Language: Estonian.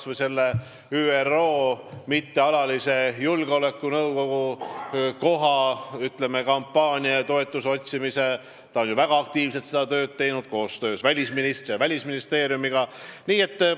Võtame kas või ÜRO Julgeolekunõukogu mittealaliseks liikmeks saamise kampaania ja toetuse otsimise – ta on koostöös välisministri ja Välisministeeriumiga seda tööd väga aktiivselt teinud.